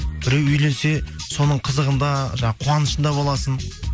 біреу үйленсе соның қызығында жаңағы қуанышында боласың